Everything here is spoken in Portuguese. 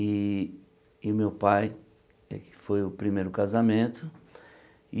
E e o meu pai foi o primeiro casamento.